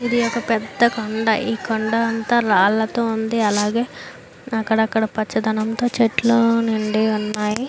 ఇది ఒక పెద్ద కొండ. ఈ కొండ అంత రాళ్లతో ఉంది. అలాగే అక్కడ అక్కడ పచ్చదనంతో చెట్లు నుండి ఉన్నాయి.